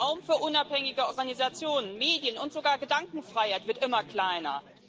Der Raum für unabhängige Organisationen, Medien und sogar Gedankenfreiheit wird immer kleiner.